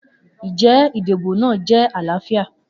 Njẹ idibo naa jẹ alaafia?